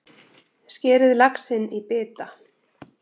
Skerið laxinn í bita.